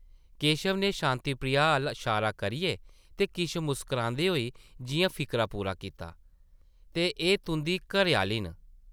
केशव नै शांति प्रिया अʼल्ल शारा करियै ते किश मुस्करांदे होई जिʼयां फिकरा पूरा कीता, ‘‘ते एह् तुंʼदी घरै-आह्ली न ।’’